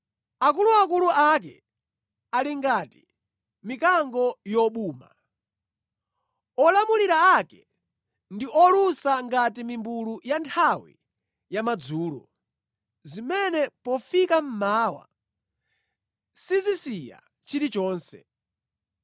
Akuluakulu ake ali ngati mikango yobuma, olamulira ake ndi olusa ngati mimbulu ya nthawi ya madzulo, zimene pofika mmawa sizisiya chilichonse.